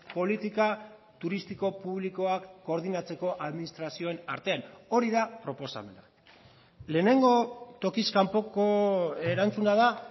politika turistiko publikoak koordinatzeko administrazioen artean hori da proposamena lehenengo tokiz kanpoko erantzuna da